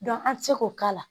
dɔn an ti se k'o k'a la